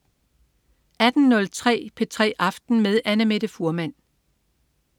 18.03 P3 aften med Annamette Fuhrmann